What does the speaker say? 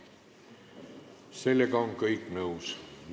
Sellega on kõik nõus.